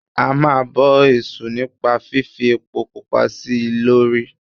A máa ń bọ èṣù nípa fífi epo pupa sí i lórí.